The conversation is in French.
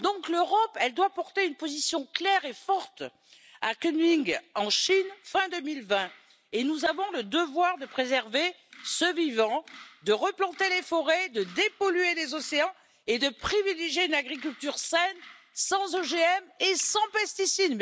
L'Europe doit donc porter une position claire et forte à Kunming en Chine fin 2020, et nous avons le devoir de préserver ce vivant, de replanter les forêts, de dépolluer les océans et de privilégier une agriculture saine sans OGM et sans pesticides.